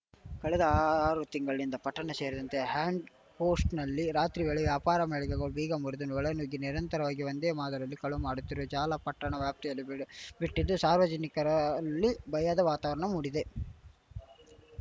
ಕಳೆದ ಆರು ತಿಂಗಳಿನಿಂದ ಪಟ್ಟಣ ಸೇರಿದಂತೆ ಹ್ಯಾಂಡ್‌ಪೋಸ್ಟ್‌ನಲ್ಲಿ ರಾತ್ರಿವೇಳೆ ವ್ಯಾಪಾರ ಮಳಿಗೆಗಳ ಬೀಗ ಮುರಿದು ಒಳನುಗ್ಗಿ ನಿರಂತರವಾಗಿ ಒಂದೇ ಮಾದರಿಯಲ್ಲಿ ಕಳವು ಮಾಡುತ್ತಿರುವ ಜಾಲ ಪಟ್ಟಣ ವ್ಯಾಪ್ತಿಯಲ್ಲಿ ಬೀಡುಬಿಟ್ಟಿದ್ದು ಸಾರ್ವಜನಿಕರಲ್ಲಿ ಭಯದ ವಾತಾವರಣ ಮೂಡಿದೆ